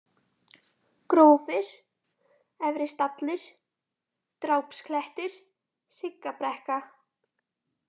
Grófir, Efristallur, Drápsklettur, Siggabrekka